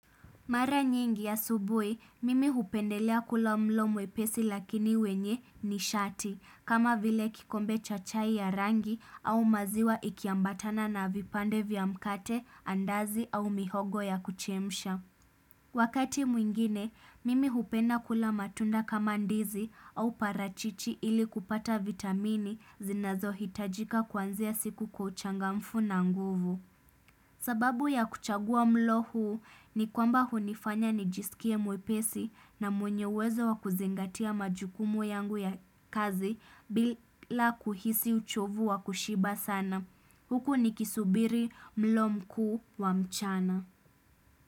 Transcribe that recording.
Mara nyingi asubui, mimi hupendelea kula mlo mwepesi lakini wenye nishati kama vile kikombe chachai ya rangi au maziwa ikiambatana na vipande vya mkate, andazi au mihogo ya kuchemisha. Wakati mwingine, mimi hupenda kula matunda kama ndizi au parachichi ili kupata vitamini zinazo hitajika kwanzia siku kwa uchangamfu na nguvu. Sababu ya kuchagua mlo huu ni kwamba hunifanya nijisikie mwepesi na mwenye uwezo wa kuzingatia majukumu yangu ya kazi bila kuhisi uchovu wa kushiba sana. Huku nikisubiri mlo mkuu wa mchana.